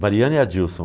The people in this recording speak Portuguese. Mariana e Adilson.